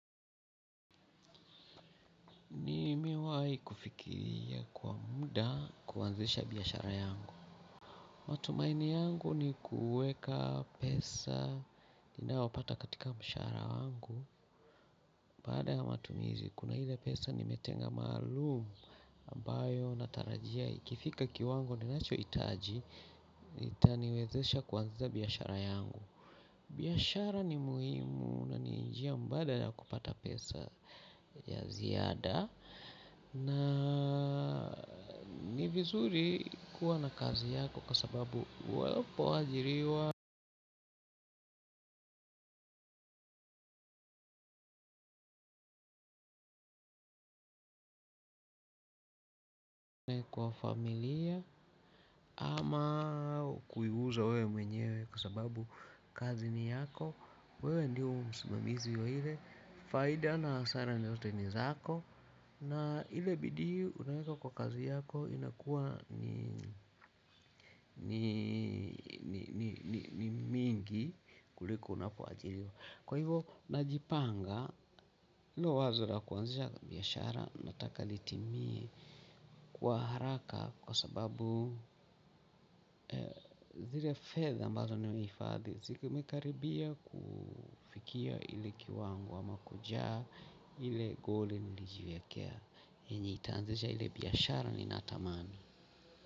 Nimewahi kufikiria kwa muda kuanzisha biashara yangu. Matumaini yangu ni kuweka pesa ninayopata katika mshahara wangu. Baada ya matumizi, kuna ile pesa nimetenga maalum ambayo natarajia ikifika kiwango ninacho hitaji, itaniwezesha kuanzisha biashara yangu. Biashara ni muhimu na ni njia mbadala ya kupata pesa ya ziada. Na ni vizuri kuwa na kazi yako kwa sababu unapoajiriwa kwa familia ama kuiuza wewe mwenyewe kwa sababu kazi ni yako. Wewe ndio msimamizi wa ile faida na hasara ni zote ni zako. Na ile bidii unaeka kwa kazi yako inakuwa ni mingi kuliko unapoajiriwa. Kwa hivyo najipanga hilo wazo la kuanzisha biashara nataka litimie kwa haraka. Kwa sababu zile fedha ambazo nimehifadhi zimekaribia kufikia ile kiwango ama kujaa ile goli nilijiwekea enye itaanzisha ile biashara ninatamani.